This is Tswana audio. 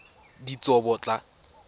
ditsobotla